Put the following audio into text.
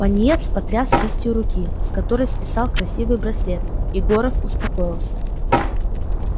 пониетс потряс кистью руки с которой свисал красивый браслет и горов успокоился